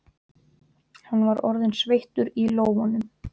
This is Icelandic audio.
Hann var orðinn sveittur í lófunum.